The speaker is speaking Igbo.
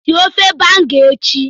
sie ofe Banga echi!